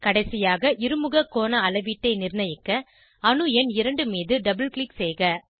கடைசியாக இருமுக கோண அளவீட்டை நிர்ணயிக்க அணு எண் 2 மீது டபுள் க்ளிக் செய்க